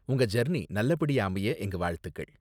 உங்க ஜர்னி நல்ல படியா அமைய எங்க வாழ்த்துக்கள்.